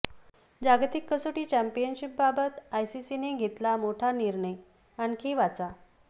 जागतिक कसोटी चॅम्पियनशिपबाबत आयसीसीने घेतला मोठा निर्णय आणखी वाचा